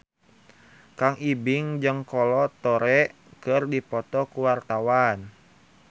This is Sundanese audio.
Kang Ibing jeung Kolo Taure keur dipoto ku wartawan